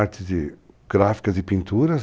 Artes de gráficas e pinturas.